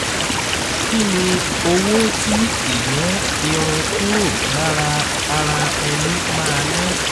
kí ni owó tí ìyọ́n irun kúrò lára ara ẹni máa ná?